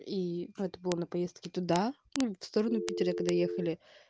и отбор на поездки туда ну в сторону питера когда ехали